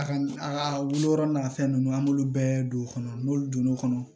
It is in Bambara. A ka a ka wolo n'a fɛn nunnu an b'olu bɛɛ don o kɔnɔ n'olu donn'o kɔnɔ